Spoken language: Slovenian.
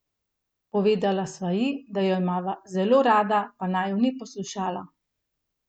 Povedala sva ji, da jo imava zelo rada, pa naju ni poslušala.